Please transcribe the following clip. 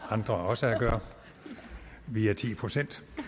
andre også at gøre vi er ti procent